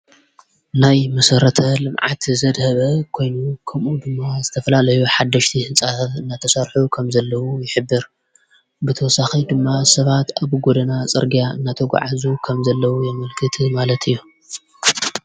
ናይ መሠረተ ልምዓት ዘድሀበ ኮይኑ ከምኡ ድማ ዝተፍላልይ ሓደሽቲ ሕፃ ናተሠርሑ ከም ዘለዉ ይኅብር ብተወሳኺ ድማ ሰባት ኣብ ጐደና ጸርጋያ ናተ ጕዓዙ ከም ዘለዉ የምልክቲ ማለት እዮ::